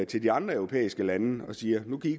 til de andre europæiske lande og siger nu kan i